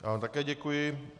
Já vám také děkuji.